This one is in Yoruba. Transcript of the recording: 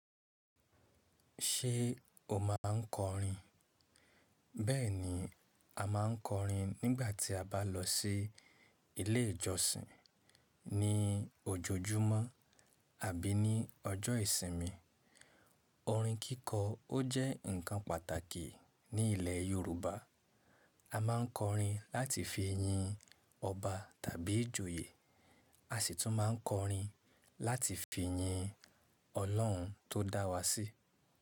Ṣé o máa ń kọrin? Bẹ́ẹ̀ni, a máa ń kọrin nígbà tí a bá lọ sí ilé ìjọsìn, ní ojoojúmọ́ àbí ní ọjọ́ ìsinmi. Orin kíkọ ó jẹ́ ǹkan pàtàkì ní ilẹ̀ Yorùbá. A máa ń kọrin láti fi yin ọba tàbí ìjòyè. A sì tún máa ń kọrin láti fi yin Ọlọ́run tó dá wa sí.